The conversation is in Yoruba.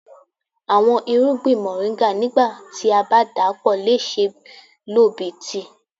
Awọn irugbin Moringa nigba ti a ba dapọ le ṣee lo bi tii.